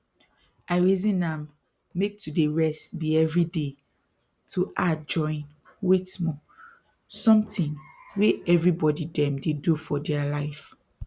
i reason am make to dey rest be everyday to add join wait small something wey everybody dem dey do for dere life